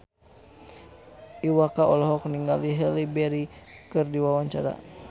Iwa K olohok ningali Halle Berry keur diwawancara